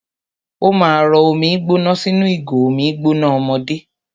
Ó ma rọ omi gbóná sínú ìgò omi gbóná ọmọdé.